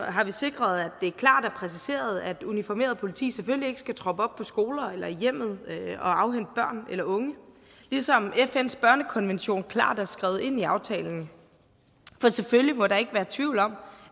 har vi sikret at det er klart og præciseret at uniformeret politi selvfølgelig ikke skal troppe op på skoler eller i hjemmet og afhente børn eller unge ligesom fns børnekonvention klart er skrevet ind i aftalen for selvfølgelig må der ikke være tvivl om